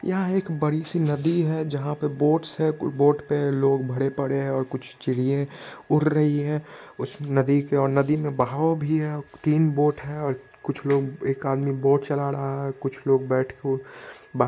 यहाँ एक बड़ी सी नदी है जहाँ पे बोट्स है। बोट् पे लोग भड़े पड़े है कुछ चिड़िये उड़ रही है उस नदी के और नदी में बहाव भी है तीन बोट है और कुछ लोग एक आदमी बोट चला रहा है और कुछ लोग बैठ कर बा --